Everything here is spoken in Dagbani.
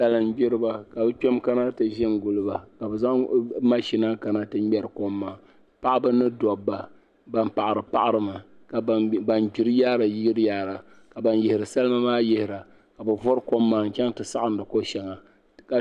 Salingbiriba ka bi kpema kana ti ʒi n guli ba ka zaŋ mashina kana ti ŋmeri kɔm maa paɣaba ni dɔbba ban paɣara paɣi ri mi ka ban gbiri yaari gbira ka ban yihiri salima maa yihi ra ka bi vɔri kɔm maa n chana ti saɣindi kɔ shɛŋa.